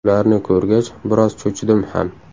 Ularni ko‘rgach, biroz cho‘chidim ham.